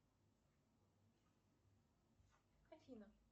афина